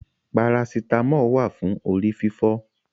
Parasítámọ̀ wà fún orí fífọ́.